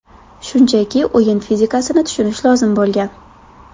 Shunchaki o‘yin fizikasini tushunish lozim bo‘lgan.